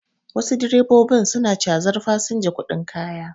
Wasu direbobin su na cazar fasinja kuɗin kaya